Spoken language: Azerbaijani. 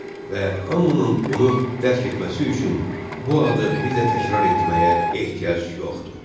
Və hamının bunu dərk etməsi üçün bu adı bir də təkrar etməyə ehtiyac yoxdur.